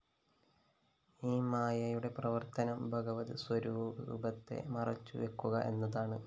ഈ മായയുടെ പ്രവര്‍ത്തനം ഭഗവത് സ്വരൂപത്തെ മറച്ചുവക്കുക എന്നതാണ്